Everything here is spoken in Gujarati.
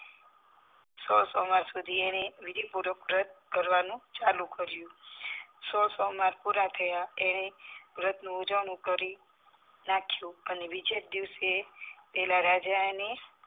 સોળ સોમવાર સુધી વિધી પૂર્વક વ્રત કરવાનું ચાલુ કર્યું સોળ સોમવાર પુરા થયા એણે વ્રતનું ઉજવણું કરી નાખ્યું અને બીજાજ દિવસે પેલા રાજાને